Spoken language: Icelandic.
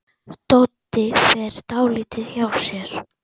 Doddi fer dálítið hjá sér.